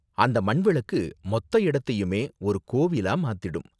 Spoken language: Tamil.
அந்த மண் விளக்கு மொத்த இடத்தையுமே ஒரு கோவிலா மாத்திடும்.